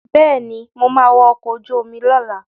Bẹ́ẹ̀ni, mo ma wa ọkọ̀ ojú omi lọ́la